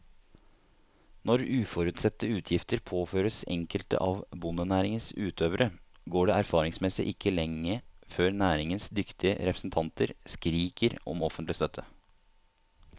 Når uforutsette utgifter påføres enkelte av bondenæringens utøvere, går det erfaringsmessig ikke lenge før næringens dyktige representanter skriker om offentlig støtte.